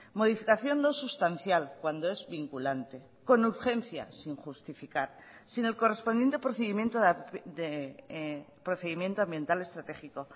modificación no sustancial cuando es vinculante con urgencias sin justificar sin el correspondiente procedimiento de procedimiento ambiental estratégico